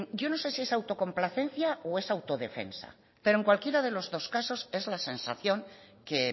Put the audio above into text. yo no sé si es autocomplacencia o es autodefensa pero en cualquiera de los dos casos es la sensación que